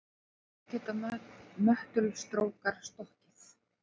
Þó geta möttulstrókar stokkið.